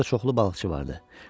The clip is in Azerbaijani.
Orada çoxlu balıqçı vardı.